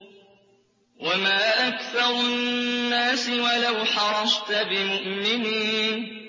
وَمَا أَكْثَرُ النَّاسِ وَلَوْ حَرَصْتَ بِمُؤْمِنِينَ